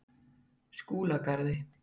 Skúlagarði